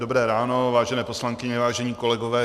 Dobré ráno, vážené poslankyně, vážení kolegové.